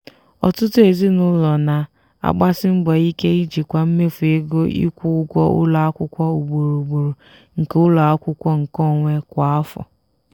ọtụtụ ezinụlọ na-agbasi mbọ ike ijikwa mmefu ego ịkwụ ụgwọ ụlọ akwụkwọ ugboro ugboro nke ụlọ akwụkwọ nkeonwe kwa afọ